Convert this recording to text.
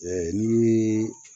ni